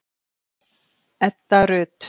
Edda Rut.